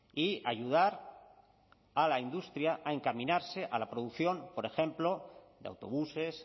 y ayudar a la industria a encaminarse a la producción por ejemplo de autobuses